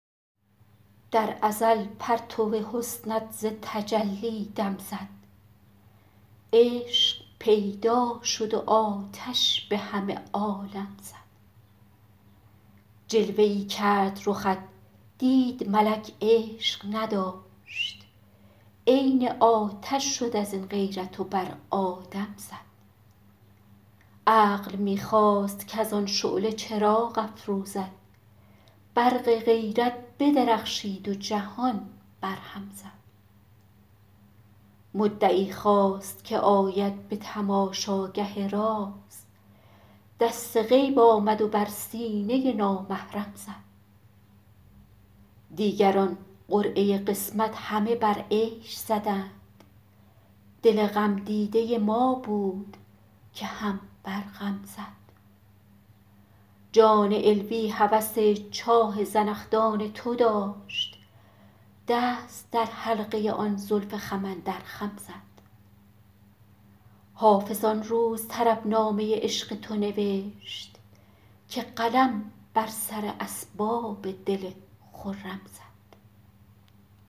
در ازل پرتو حسنت ز تجلی دم زد عشق پیدا شد و آتش به همه عالم زد جلوه ای کرد رخت دید ملک عشق نداشت عین آتش شد از این غیرت و بر آدم زد عقل می خواست کز آن شعله چراغ افروزد برق غیرت بدرخشید و جهان برهم زد مدعی خواست که آید به تماشاگه راز دست غیب آمد و بر سینه نامحرم زد دیگران قرعه قسمت همه بر عیش زدند دل غمدیده ما بود که هم بر غم زد جان علوی هوس چاه زنخدان تو داشت دست در حلقه آن زلف خم اندر خم زد حافظ آن روز طربنامه عشق تو نوشت که قلم بر سر اسباب دل خرم زد